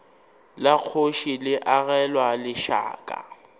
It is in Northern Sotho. la kgoši le agelwa lešaka